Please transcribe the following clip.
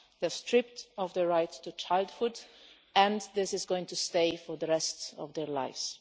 They are stripped of their right to childhood, and this is going to stay for the rest of their lives.